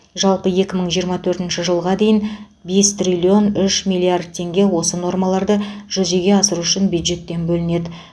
жалпы екі мың жиырма төртінші жылға дейін бес триллион үш миллиард теңге осы нормаларды жүзеге асыру үшін бюджеттен бөлінеді